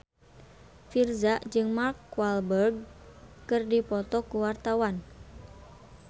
Virzha jeung Mark Walberg keur dipoto ku wartawan